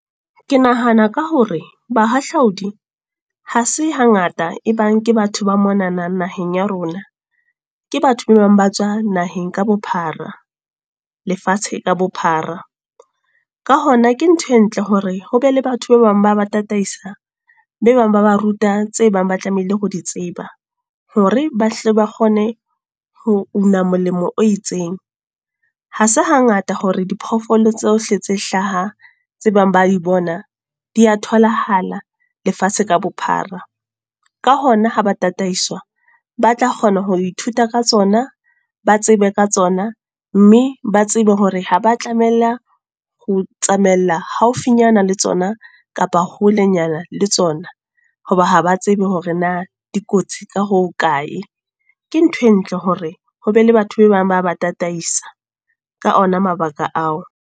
Ke nahana ka hore bahahlaudi, ha se hangata e bang ke batho ba monanang naheng ya rona. Ke batho be bang ba tswa naheng ka bophara. Lefatshe ka bophara. Ka hona ke ntho e ntle hore ho ba le batho ba bang ba ba tataisa, be bang ba ba ruta tse bang ba tlamehile ho di tseba. Hore ba hle ba kgone ho una molemo o itseng. Ha se hangata hore di phoofolo tsohle tse hlaha, tse bang ba di bona, di a tholahala lefatshe ka bophara. Ka hona ha ba tataiswa, ba tla kgona ho ithuta ka tsona, ba tsebe ka tsona, mme ba tsebe hore ha ba tlamella ho tsamaela haufinyana le tsona kapa holenyana le tsona. Hoba ha ba tsebe hore na dikotsi ka hokae. Ke ntho e ntle hore ho be le batho be bang ba ba tataisa, ka ona mabaka ao.